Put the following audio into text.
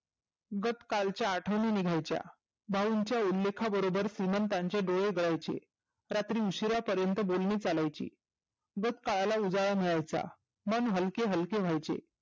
गत काळच्या आठवनी निघायच्या भाऊंच्या उल्लेखा बरोबर श्रिमंतांचे डोळे ओघळायचे. रात्री उशिरापर्यंत बोलने चालायचे गत काळाला उजाळा मिळायचा मन हलके हलके व्हायचे.